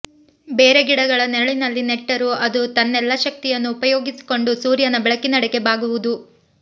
ಬೇರೆ ಗಿಡಗಳ ನೆರಳಿನಲ್ಲಿ ನೆಟ್ಟರೂ ಅದು ತನ್ನೆಲ್ಲ ಶಕ್ತಿಯನ್ನು ಉಪಯೋಗಿಸಿಕೊಂಡು ಸೂರ್ಯನ ಬೆಳಕಿನೆಡೆಗೆ ಬಾಗುವುದು